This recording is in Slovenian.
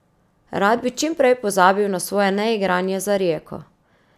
Rad bi čim prej pozabil na svoje neigranje za Rijeko.